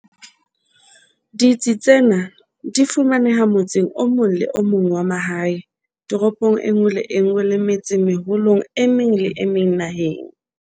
Ditsi tsena di fumaneha motseng o mong le o mong wa mahae, toropong e nngwe le e nngwe le metsemeholong e meng le e meng naheng.